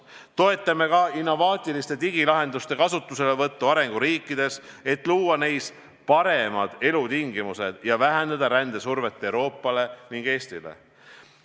Me toetame ka innovaatiliste digilahenduste kasutuselevõttu arenguriikides, et luua neis paremad elutingimused ning vähendada rändesurvet Euroopale ja Eestile.